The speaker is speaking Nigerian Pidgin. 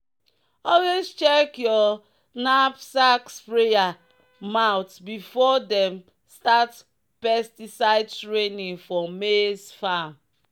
"always check your knapsack sprayer mouth before dem start pesticide training for maize farm."